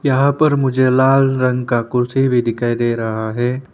यहां पर मुझे लाल रंग का कुर्सी भी दिखाई दे रहा है।